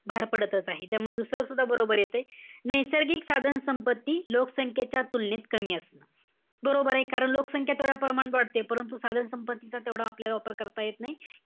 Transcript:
भार पडतच आहे, त्यामुळे दुसरं सुद्धा बरोबर येतंय. नैसर्गिक साधन संपत्ती, लोकसंख्येच्या तुलनेत कमी असते. बरोबर आहे. कारण लोकसंख्या तेवढ्या प्रमाणात वाढतेय. परंतु, साधन संपत्तीचा आपल्याला तेवढा वापर करता येत नाही.